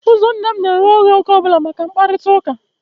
Ụzọ nne m na-eghe oghe oge ọ bụla maka mkparịtaụka